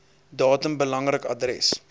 datum belangrik adres